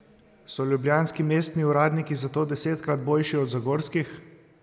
So ljubljanski mestni uradniki zato desetkrat boljši od zagorskih?